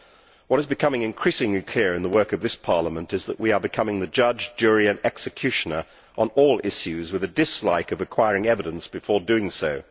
What is becoming increasingly clear in the work of this Parliament is that we are becoming the judge, jury and executioner on all issues, with a dislike of acquiring evidence before doing so.